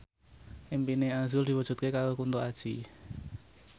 impine azrul diwujudke karo Kunto Aji